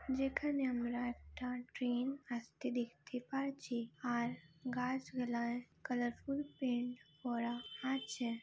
যেখানে আমরা একটা ট্রেন আসতে দেখতে পারছি আর গাছগুলার কালারফুল পেন্ট করা আছে ।